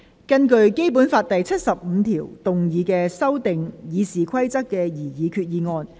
根據《基本法》第七十五條動議修訂《議事規則》的擬議決議案。